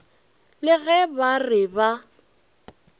le ge ba re ba